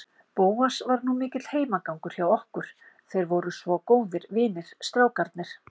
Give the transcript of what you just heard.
Bóas var nú mikill heimagangur hjá okkur, þeir voru svo góðir vinir, strákarnir.